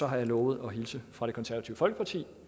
har jeg lovet at hilse fra det konservative folkeparti